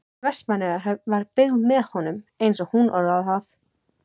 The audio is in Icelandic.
Vestmannaeyjahöfn var byggð með honum, eins og hún orðar það.